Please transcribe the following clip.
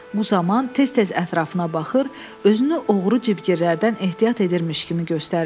Bu zaman tez-tez ətrafına baxır, özünü oğru cibgirdlərdən ehtiyat edirmiş kimi göstərirdi.